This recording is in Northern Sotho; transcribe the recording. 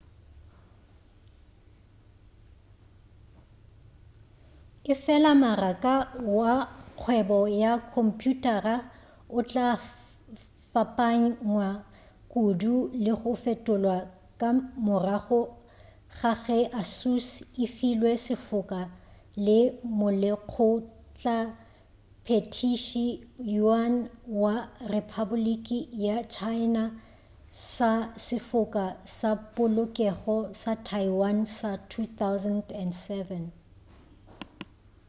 efela maraka wa kgwebo wa khomphuthara o tla fapanywa kudu le go fetolwa ka morago ga ge asus e filwe sefoka ke molekgotlaphethiši yuan wa rephapoliki ya china sa sefoka sa polokego sa taiwan sa 2007